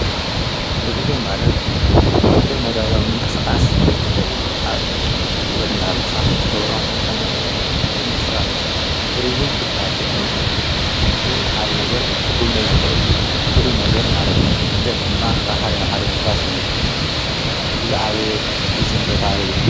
ጕዕዞ ማለት ኲሎ መዳያዊ ምንቀስቓስ ዓ ይወት እንናሃለኻ እትጐብሮ ኣይነት ምንቂስቓስ እዩ ትርዝም ትብሃ ልንተሎ ብ ሓደ ነገር ኽጕም ነይ ዝኽእል ፍል ነገር ማለት እዩ ስደት ድማ ካብ ሓደ ና ሓደም እፍላስ እዩ ዛዓበየ ትርዝም ቦታሃበ ይር።